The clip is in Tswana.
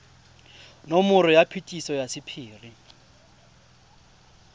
nomoro ya phetiso ya sephiri